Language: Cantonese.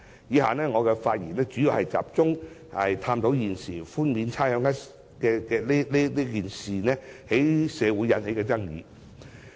以下發言，我主要集中探討現時寬免差餉一事在社會引起的爭議。